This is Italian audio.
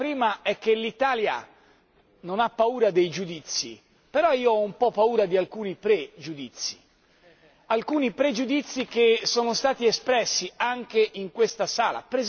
La prima è che l'Italia non ha paura dei giudizi, però io ho un po' paura di alcuni pregiudizi, alcuni pregiudizi che sono stati espressi anche in questa sala.